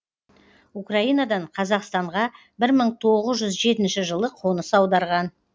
украинадан қазақстанға бір мың тоғыз жүз жетінші жылы қоныс аударған